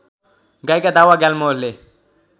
गायिका दावा ग्याल्मोले